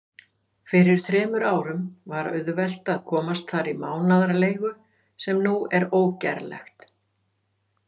Fyrir þremur árum var auðvelt að komast þar í mánaðarleigu, sem nú er ógerlegt.